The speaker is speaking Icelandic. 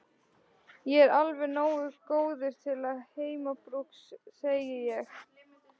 Ég er alveg nógu góður til heimabrúks, segi ég.